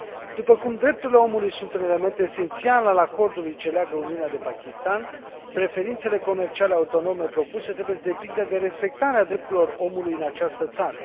După cum drepturile omului sunt un element esențial al acordului ce leagă Uniunea de Pakistan, preferințele comerciale autonome propuse trebuie să depindă de respectarea drepturilor omului în această țară.